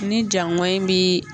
Ni jaŋɔnyi bi